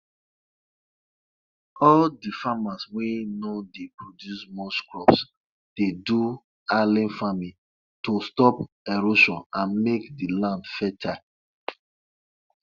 farmers for bauchi dey um plant basil wey dem bring um from outside country inside um half bucket wey dem line wth dry leaf